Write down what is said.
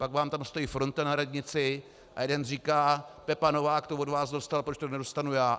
Pak vám tam stojí fronta na radnici a jeden říká: Pepa Novák to od vás dostal, proč to nedostanu já?